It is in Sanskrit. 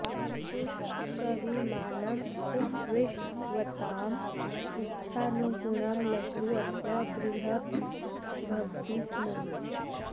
पुष्पकविमानम् उपविष्टवताम् इच्छानुगुणं लघु अथवा बृहत् भवति स्म